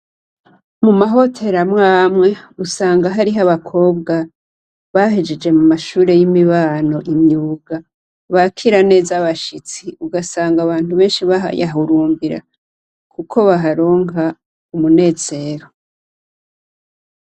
Mu mahoteri amwe amwe usanga hariho abakobwa bahejeje mu mashure y'imibano y'imyuga, bakira neza bashitsi ugasanga abantu benshi bayahurumbira kuko baharonka umunezero.